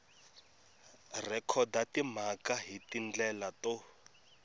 rhekhoda timhaka hi tindlela to